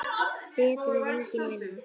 Betra en engin vinna.